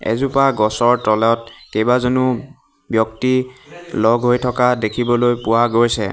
এজোপা গছৰ তলত কেইবাজনো ব্যক্তি লগ হৈ থকা দেখিবলৈ পোৱা গৈছে।